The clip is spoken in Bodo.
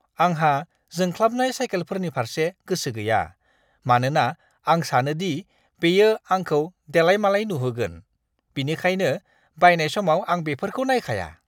आंहा जोंख्लाबनाय साइकेलफोरनि फारसे गोसो गैया, मानोना आं सानो दि बेयो आंखौ देलायमालाय नुहोगोन, बेनिखायनो बायनाय समाव आं बेफोरखौ नायखाया!